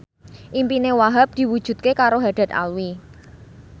impine Wahhab diwujudke karo Haddad Alwi